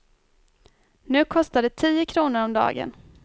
Nu kostar det tio kronor om dagen.